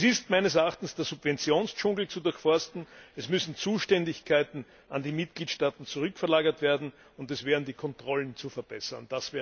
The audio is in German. Es ist meines Erachtens der Subventionsdschungel zu durchforsten, es müssen Zuständigkeiten an die Mitgliedstaaten zurückverlagert werden, und es wären die Kontrollen zu verbessern.